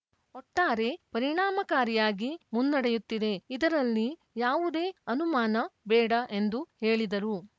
ಒಟ್ಟಾರೆ ಪರಿಣಾಮಕಾರಿಯಾಗಿ ಮುನ್ನಡೆಯುತ್ತಿದೆ ಇದರಲ್ಲಿ ಯಾವುದೇ ಅನುಮಾನ ಬೇಡ ಎಂದು ಹೇಳಿದರು